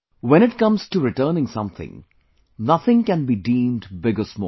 When it comes to returning something, nothing can be deemed big or small